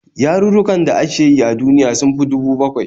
Yarurrukan da ake yi a duniya sun fi 7,000